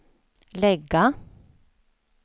lägga